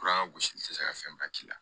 Kuran ka gosili tɛ se ka fɛn ba k'i la